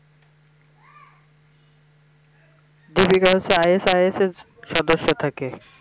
deepika হচ্ছে ISIS এর সদস্য থাকে